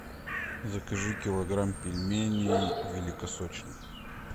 закажи килограмм пельменей великосочные